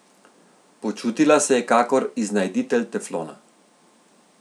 Počutila se je kakor iznajditelj teflona.